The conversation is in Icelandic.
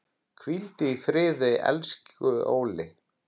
Hvíldu í friði, elsku Óli.